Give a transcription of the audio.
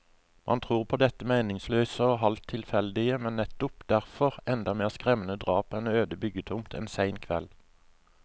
Man tror på dette meningsløse og halvt tilfeldige, men nettopp derfor enda mer skremmende drap på en øde byggetomt en sen kveld.